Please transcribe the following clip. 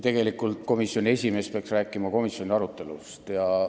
Tegelikult komisjoni esimees peaks rääkima komisjoni arutelust.